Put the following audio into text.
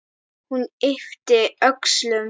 Hún yppti öxlum.